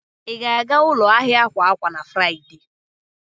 Ị ga-aga ụlọ ahịa akwa akwa na Fraịde?